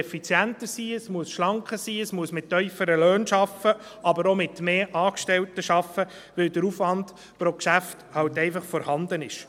Es muss schlanker sein, es muss mit tieferen Löhnen arbeiten, aber auch mit mehr Angestellten, weil der Aufwand pro Geschäft eben einfach vorhanden ist.